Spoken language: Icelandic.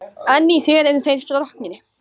En í þér eru þeir stroknir.